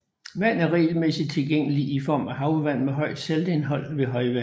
Vand er regelmæssigt tilgængeligt i form af havvand med højt saltindhold ved højvande